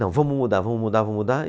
Não, vamos mudar, vamos mudar, vamos mudar.